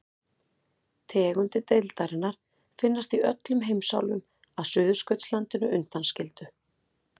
Tegundir deildarinnar finnast í öllum heimsálfum að Suðurskautslandinu undanskildu.